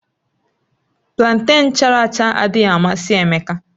Planten chara acha adịghị amasị Emeka